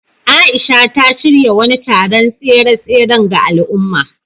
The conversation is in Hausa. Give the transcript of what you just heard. Aisha, ta shirya wani taron tseren tsere ga al’umma.